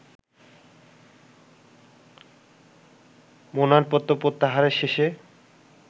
মনোনয়নপত্র প্রত্যাহারের শেষে